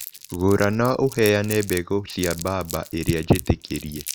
Gũra na ũheane mbegũ cĩ mbamba irĩa njĩtĩkĩrie